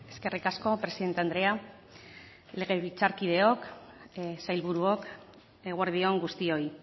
eskerrik asko presidente andrea legebiltzarkideok sailburuok eguerdi on guztioi